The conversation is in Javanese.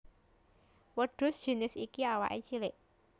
Wêdhus jinis iki awaké cilik